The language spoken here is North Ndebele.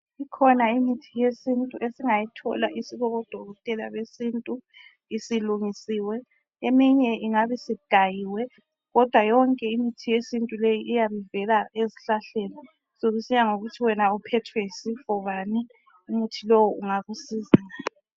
Kukhona imithi esingayithola kubodokotela besintu isilungisiwe, eminye ingabe isigayiwe kodwa yonke imithi yesintu leyi iyabe ivela ezihlahleni, sokusiya ngokuthi wena uphethwe yisifo bani umuthi lowu ungakusiza.